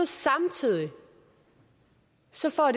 samtidig